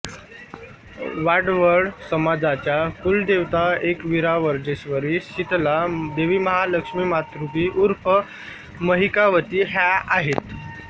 वाडवळ समाजाच्या कुलदेवताएकविरावज्रेश्वरी सितला देवीमहालक्ष्मीमातृकी ऊर्फ महिकावती ह्या आहेत